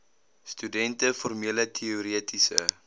studente formele teoretiese